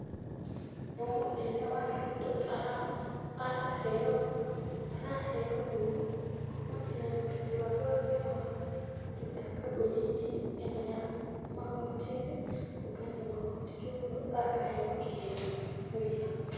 Nĩ mũnene wa kũndũ araheo ngumo kumanĩrĩra na ũruti wake wa wĩra wa kũruta kambuni -inĩ ĩno ya magooti-inĩ, kũngania magoti, kwoguo akaheo kĩheo nĩ wĩra.